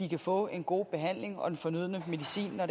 kan få en god behandling og den fornødne medicin når